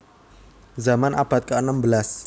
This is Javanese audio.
Zaman abad keenem belas